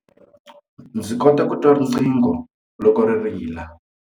Ndzi kota ku twa riqingho loko ri rila.